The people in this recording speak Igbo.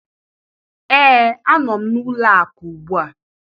Ee, a nọ m n'ụlọ akụ ugbu a